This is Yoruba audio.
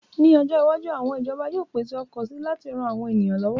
Ní ọjọ́ iwájú, àwọn ìjọba yóò pèsè ọkọ̀ si láti ran àwọn èèyàn lọ́wọ́